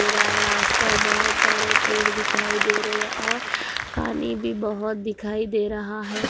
मेरा यहाँ आसपास बहुत सारे पेड़ दिखाई दे रहे है और पानी भी बहुत दिखाई दे रहा है।